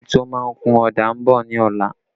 A painter is coming tomorrow